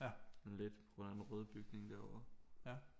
Sådan lidt på grund af den røde bygning derovre